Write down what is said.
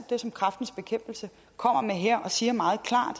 det som kræftens bekæmpelse kommer med her og siger meget klart